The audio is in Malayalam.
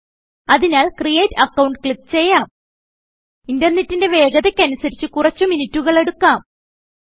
അതിനാൽ ക്രിയേറ്റ് അക്കൌണ്ട് ക്ലിക്ക് ചെയ്യാം ഇതു ഇന്റർനെറ്റിന്റെ വേഗതയ്ക്ക് അനുസരിച്ച് കുറച്ചു മിനുറ്റുകൾ എടുക്കാം